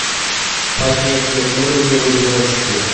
поднятие уровня в одиночку